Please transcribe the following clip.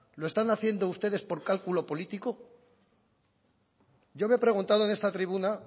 lo están haciendo ustedes por cálculo político yo me he preguntado en esta tribuna